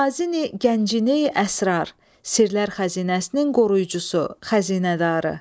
Xazin əl-gəncini əsrar, sirlər xəzinəsinin qoruyucusu, xəzinədarı.